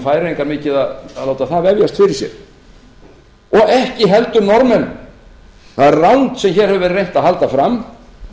færeyingar mikið að láta það vefjast fyrir sér og ekki heldur norðmenn það er rangt sem hér hefur verið reynt að halda fram